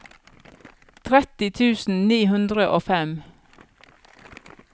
tretti tusen ni hundre og fem